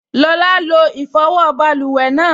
Lọla lo ìfọwọ́ báluwẹ̀ náà